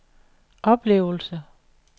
oplevelse